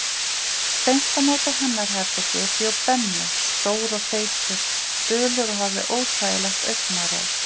Beint á móti hennar herbergi bjó Benni, stór og feitur, dulur og hafði óþægilegt augnaráð.